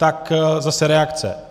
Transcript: Tak zase reakce.